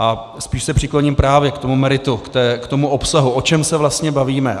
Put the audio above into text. A spíš se přikloním právě k tomu meritu, k tomu obsahu, o čem se vlastně bavíme.